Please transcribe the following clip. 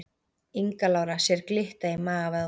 Inga Lára sér glitta í magavöðvana